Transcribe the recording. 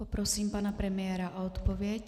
Poprosím pana premiéra o odpověď.